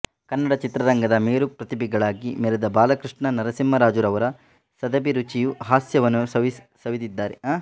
ಕನ್ನಡ ಚಿತ್ರರಂಗದ ಮೇರು ಪ್ರತಿಭೆಗಳಾಗಿ ಮೆರೆದ ಬಾಲಕೃಷ್ಣ ನರಸಿಂಹರಾಜುರವರ ಸದಭಿರುಚಿಯ ಹಾಸ್ಯ ವನ್ನೂ ಸವಿದಿದ್ದಾರೆ